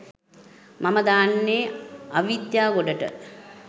මම දාන්නේ අවිද්‍යා ගොඩට.